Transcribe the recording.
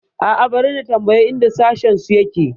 A'a, bari na tambayi inda sashensu yake.